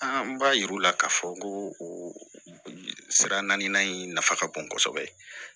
An b'a yir'u la k'a fɔ ko o sira naani in nafa ka bon kosɛbɛ